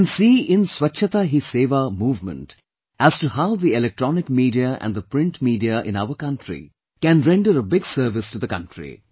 We can see in "Swachhata Hi Sewa" movement as to how the electronic media and the print media in our country can render a big service to the country